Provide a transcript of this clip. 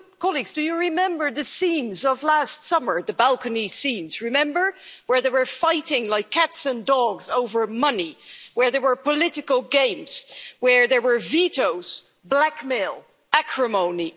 Colleagues, do you remember the scenes of last summer, the balcony scenes, where they were fighting like cats and dogs over money, where there were political games, where there were vetoes, blackmail, and acrimony?